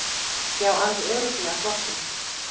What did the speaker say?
Já, alveg örugglega flottust.